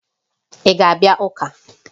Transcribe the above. Ị ga-abịa ụka?